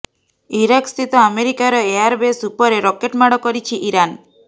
Iraq ସ୍ଥିତ ଆମେରିକାର airbase ଉପରେ ରକେଟ ମାଡ଼ କରିଛି ଇରାନ